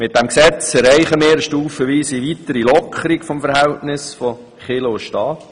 Mit diesem Gesetz erreichen wir eine stufenweise weitere Lockerung des Verhältnisses von Kirche und Staat.